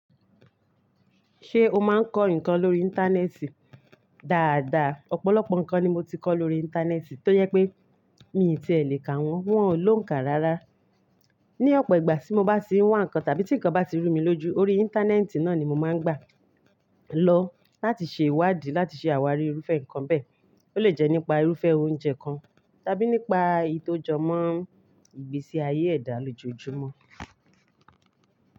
Ṣé o máa ń kọ́ nǹkan lórí Íńtánẹ́ẹ̀tì? Da da, ọ̀pọ̀lọpọ̀ nǹkan ni mo ti kọ́ lórí Íńtánẹ́ẹ̀tì tó yẹ pé mi ì tí è lè kà wọ́n, wọn ò lóǹkà rárá. Ni ọ̀pọ̀ ìgbà tí mo bá ti n wá nǹkan tàbí tí nǹkan bá ti rú mi lójú lórí Íńtánẹ́ẹ̀tì náà ni mo máa ń gbà lọ láti ṣe ìwádìí láti ṣe àwárí irúfẹ́ nǹkan bẹ́ẹ̀. Ó lè jẹ́ nípa irúfẹ́ oúnjẹ kan tàbí nípa èyí tó jọ mọ́ ìgbésí ayé ẹ̀dá lójoojúmọ́.